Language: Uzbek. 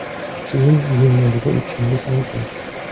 Keyin yenglarga o‘tishingiz mumkin.